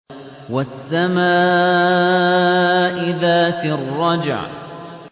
وَالسَّمَاءِ ذَاتِ الرَّجْعِ